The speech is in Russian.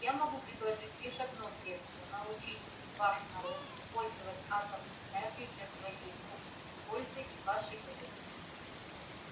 я могу предложить лишь одно средство научить ваш народ использовать атомную энергию для своей собственной пользы и вашей выгоды